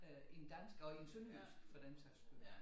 Øh end dans og i sønderjysk for den sags skyld